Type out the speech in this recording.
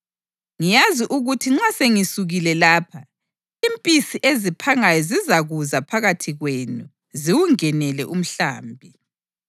Ngiyazi ukuthi nxa sengisukile lapha, impisi eziphangayo zizakuza phakathi kwenu ziwungenele umhlambi.